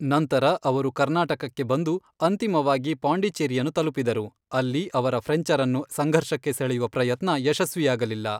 ನಂತರ ಅವರು ಕರ್ನಾಟಕಕ್ಕೆ ಬಂದು, ಅಂತಿಮವಾಗಿ ಪಾಂಡಿಚೆರಿಯನ್ನು ತಲುಪಿದರು, ಅಲ್ಲಿ ಅವರ ಫ್ರೆಂಚರನ್ನು ಸಂಘರ್ಷಕ್ಕೆ ಸೆಳೆಯುವ ಪ್ರಯತ್ನ ಯಶಸ್ವಿಯಾಗಲಿಲ್ಲ.